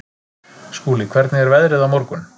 Skúli, hvernig er veðrið á morgun?